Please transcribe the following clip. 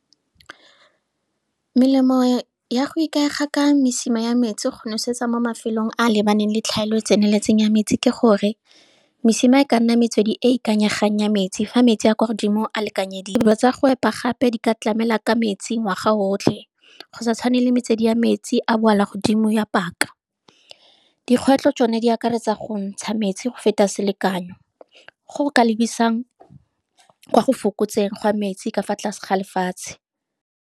Melemo ya go ikaega ka mesima ya metsi go nosetsa mo mafelong a lebaneng le tlhaelo tseneletseng ya metsi ke gore, mesima e ka nna metswedi e e ikanyegang ya metsi, fa metsi a kwa godimo a lekanyediwe. Dilo tsa go epa gape di ka tlamela ka metsi ngwaga otlhe, go sa tshwane le metswedi ya metsi a boala godimo ya paka. Dikgwetlho tsone, di akaretsa go ntsha metsi go feta selekanyo, go ka lebisang kwa go fokotseng gwa metsi ka fa tlase ga lefatshe.